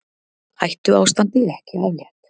Hættuástandi ekki aflétt